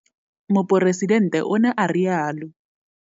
Moporesidente o ne a rialo.